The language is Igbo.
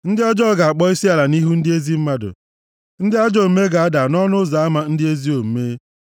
Ndị ọjọọ ga-akpọ isiala nʼihu ndị ezi mmadụ, ndị ajọ omume ga-ada nʼọnụ ụzọ ama ndị ezi omume.